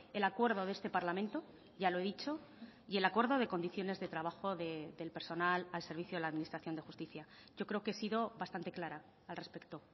el acuerdo de este parlamento ya lo he dicho y el acuerdo de condiciones de trabajo del personal al servicio de la administración de justicia yo creo que he sido bastante clara al respecto